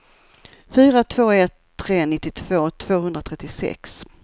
fyra två ett tre nittiotvå tvåhundratrettiosex